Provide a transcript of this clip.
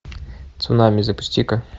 цунами запусти ка